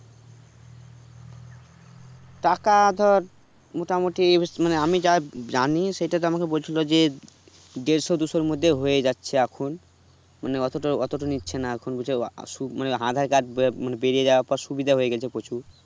টাকাতো মোটা মুটি ইমানে আমি যা জানি সেটাতে আমাকে বলছিলো যে দেড়শো দুশোর মধ্যে হয়ে যাচ্ছে এখন মানে অতোটো অতোটো নিচ্ছে না এখন বুলছে আসুক মানে aadhar card ববেরিয়ে যাবার পর সুবিধা হয়েগেলছে প্রচুর